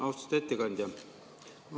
Austatud ettekandja!